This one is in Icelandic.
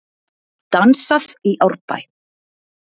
Dansað í Árbæ